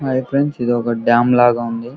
hi friends ఇది ఒక dam లాగ ఉంది --